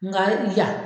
Nga